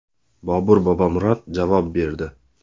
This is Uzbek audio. Bobur Bobomurod javob berdi .